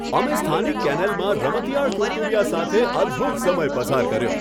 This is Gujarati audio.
અમે સ્થાનિક કેનેલમાં રમતિયાળ કુરકુરિયા સાથે અદ્ભુત સમય પસાર કર્યો.